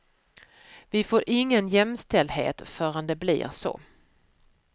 Vi får ingen jämställdhet förrän det blir så.